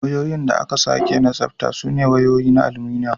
Wayoyin da aka sake tsabta sune wayoyi na aluminum.